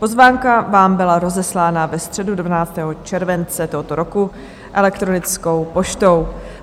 Pozvánka vám byla rozeslána ve středu 12. července tohoto roku elektronickou poštou.